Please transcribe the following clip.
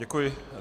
Děkuji.